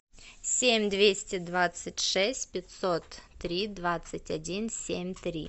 семь двести двадцать шесть пятьсот три двадцать один семь три